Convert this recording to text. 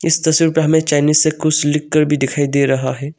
इस तस्वीर पे हमें चाइनीज से कुछ लिखकर भी दिखाई दे रहा है।